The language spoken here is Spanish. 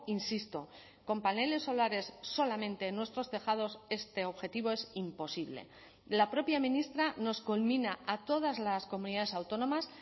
insisto con paneles solares solamente en nuestros tejados este objetivo es imposible la propia ministra nos conmina a todas las comunidades autónomas